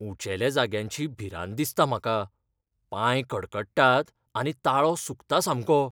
उंचेल्या जाग्यांची भिरांत दिसता म्हाका. पांय कडकडटात आनी ताळो सुकता सामको.